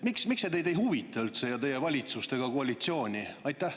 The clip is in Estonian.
Miks see teid üldse ei huvita, ei teie valitsust ega koalitsiooni?